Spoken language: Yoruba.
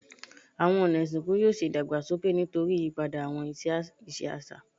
Awọn ọna isinku yoo ṣe idagbasoke nitori iyipada awọn iṣe aṣa